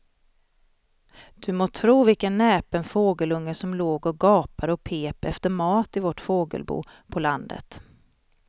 Du må tro vilken näpen fågelunge som låg och gapade och pep efter mat i vårt fågelbo på landet.